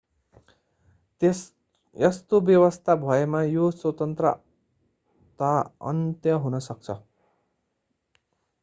यस्तो व्यवस्था भएमा यो स्वतन्त्रता अन्त्य हुन सक्छ